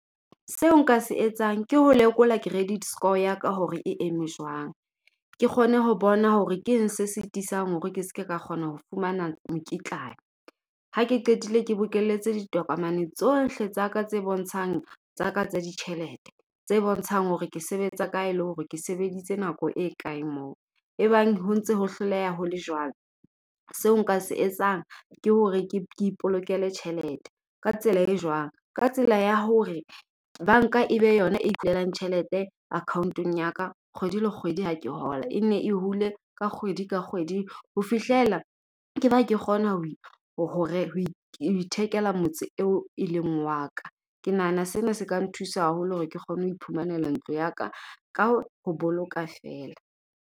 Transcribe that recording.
Seo nka se etsang ke ho lekola credit score ya ka hore e eme jwang. Ke kgone ho bona hore keng se sitisang hore ke ske ka kgona ho fumana mokitlane. Ha ke qetile ke bokelletse ditokomane tsohle tsa ka tse bontshang tsa ka tsa ditjhelete. Tse bontshang hore ke sebetsa kae le hore ke sebeditse nako e kae moo. E bang ho ntse ho hloleha ho le jwalo. Seo nka se etsang ke hore ke ipolokela tjhelete ka tsela e jwang? Ka tsela ya hore banka e be yona e tjhelete account-ong ya ka kgwedi le kgwedi ha ke hola. E nne e hule ka kgwedi ka kgwedi ho fihlela ke ba ke kgona hore ho ho ithekela motse eo e leng wa ka. Ke nahana sena se ka nthusa haholo hore ke kgone ho iphumanela ntlo ya ka ka ho boloka feela.